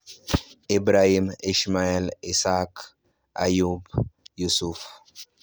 Ibrahim (Abraham), Ismail (Ishmael), Ishaq (Isaac), Yaqub (Jacob), Yusuf (Joseph).